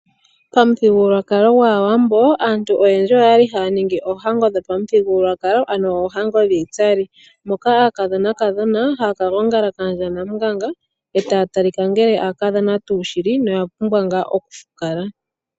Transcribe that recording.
Pamuthigululwakalo gwAawambo aantu oyendji oya li haya ningi oohango dhopamuthigululwakalo ano oohango dhiitsali moka aakadhonakadhona haya ka gongala kaandja Namunganga e ta ya talika ngele aakadhona tuu shili noya pumbwa ngaa okufukala.